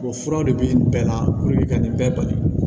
O fura de bi nin bɛɛ la ka nin bɛɛ bali